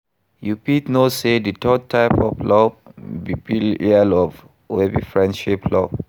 You fit know say di third type of love be philia love, wey be friendship love.